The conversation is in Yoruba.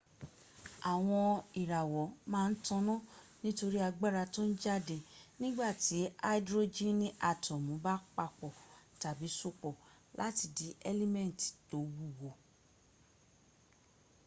àwọn ìràwọ̀ ma n taná nítorí agbára tón jáde nígbàtí aidrojini atọ́mu ba papò tàbí sopọ̀ láti di ẹ́límẹ́ntì tó wúwo